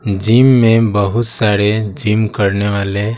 gym में बहुत सारे जिम करने वाले--